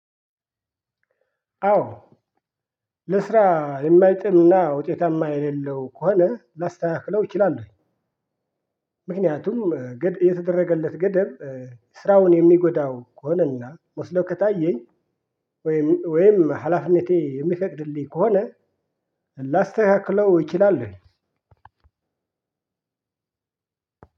አዎ ለስራ የማይጥምና ውጤታማ የሌለው ከሆነ ላስተካክለው እችላለሁኝ። ምክንያቱም የተደረገለት ገደብ ስራውን የሚጎዳው ከሆነና መስሎ ከታየኝ ወይም ወይም ሀላፊነቴ የሚፈቅድልኝ ከሆነ። ላስተካክለው እችላለሁኝ።